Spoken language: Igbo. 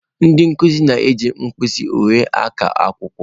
Ndị nkuzi na-eji mkpịsị uhie na-aka akwụkwọ.